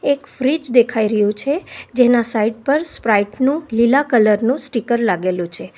એક ફ્રીજ દેખાઈ રહ્યું છે જેના સાઈડ પર સ્પ્રાઇટ નું લીલા કલર નું સ્ટીકર લાગેલું છે.